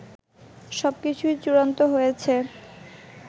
সবকিছু চূড়ান্ত হয়েছে